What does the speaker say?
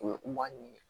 O ye maa ɲini